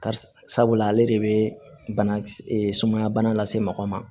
Karisa ale de bɛ bana e sumaya bana lase mɔgɔ ma